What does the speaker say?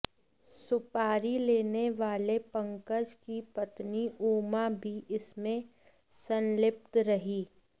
सुपारी लेने वाले पंकज की पत्नी उमा भी इसमें संलिप्त रही